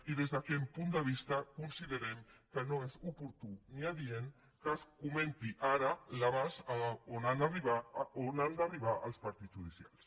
i des d’aquest punt de vista considerem que no és oportú ni adient que es comenti ara l’abast on han d’arribar els partits judicials